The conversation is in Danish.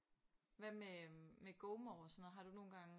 Hvad med med Gomore og sådan noget har du nogle gange